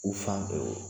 U fan fɛ wo